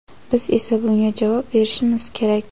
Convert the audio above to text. biz esa bunga javob berishimiz kerak.